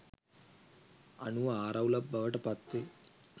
අනුව ආරවුලක් බවට පත්වේ.